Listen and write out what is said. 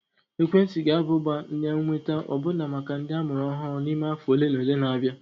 Ekwentị ga-aba ụba na ịnweta ọbụna maka ndị amụrụ ọhụrụ n'ime afọ ole na ole na-abịa